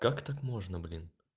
как так можно блин